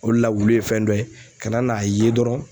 O le la wuli ye fɛn dɔ ye kana n'a ye dɔrɔn